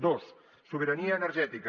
dos sobirania energètica